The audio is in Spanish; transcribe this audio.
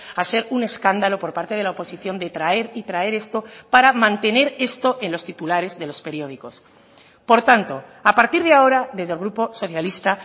a ser un escándalo por parte de la oposición de traer y traer esto para mantener esto en los titulares de los periódicos por tanto a partir de ahora desde el grupo socialista